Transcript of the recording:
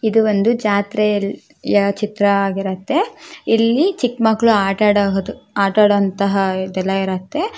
ಇದು ಒಂದು ಜಾತ್ರೆಯ ಚಿತ್ರವಾಗಿರುತ್ತೆ ಇಲ್ಲಿ ಚಿಕ್ಕ ಮಕ್ಕಳು ಆಟ ಆಡಬಹುದು ಆಟ ಆಡುವಂತಹ ಇದೆಲ್ಲ ಇರುತ್ತೆ.